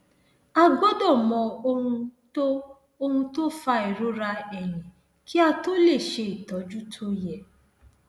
a gbọdọ mọ ohun tó ohun tó fa ìrora ẹyìn kí a tó lè ṣe ìtọjú tó yẹ